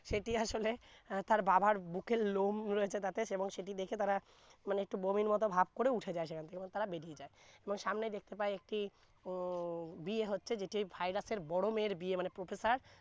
সেটি আসলে আহ তার বাবার বুকের লোম রয়েছে তাতে যেমন দেখে তারা মানে একটু বমির মত ভাব করে উঠে যায় সেখান থেকে তারা বেরিয়ে যায় এবং সামনে দেখতে পায় একটি উম বিয়ে হচ্ছে যেটি virus এর বড় মেয়ে এর বিয়ে মানে professor